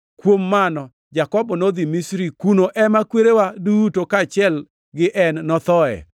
Kuom mano Jakobo nodhi Misri, kuno ema kwerewa duto kaachiel gi en nothoe.